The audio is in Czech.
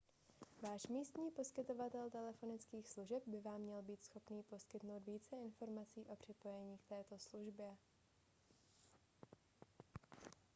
váš místní poskytovatel telefonických služeb by vám měl být schopen poskytnout více informací o připojení k této službě